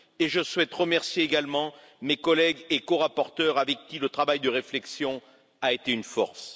Je souhaite remercier également mes collègues et corapporteurs, avec qui le travail de réflexion a été une force.